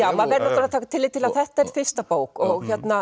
að taka tillit til að þetta er fyrsta bók og